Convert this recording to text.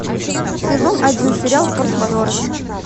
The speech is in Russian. сезон один сериал форс мажоры